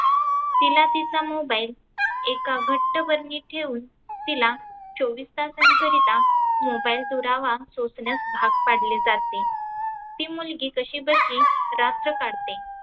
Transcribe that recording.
तीला तीचा mobile एका घट्ट बरनीत ठेऊन तीला चोवीस तासांकरीता mobile दुरावा सोसण्यास भाग पाडले जाते. ती मुलगी कशी बशी रात्र काढते.